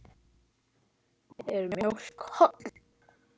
Er mjólk holl?